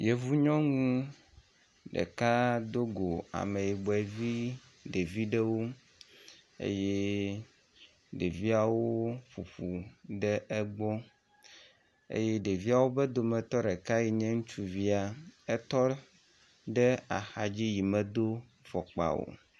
Yevu nyɔnu ɖeka do go ameyibɔ vi ɖevi ɖewo eye ɖeviawo ƒoƒu ɖe egbɔ eye ɖeviawo be dometɔ ɖeka yi nye ŋutsuvia etɔ ɖe axa dzi yi medo fɔkpa o.